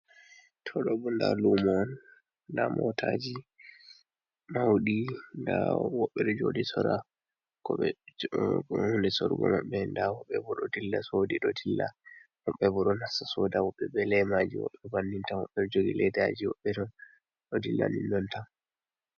To ɗo bo nda luma un, nda motaji maudi, nda woɓɓe ɗo joɗi sorra ko ɓe__ hunde sorrogo maɓɓe. Nda woɓɓe bo ɗo dilla sodi do dilla. Woɓɓe bo ɗo nasta soda, woɓɓe be lemaji, woɓɓe bannintan, woɓɓe jogi leidaji, woɓɓe do dilla nin nontan.